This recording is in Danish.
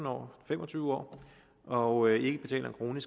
år fem og tyve år og ikke betaler en krone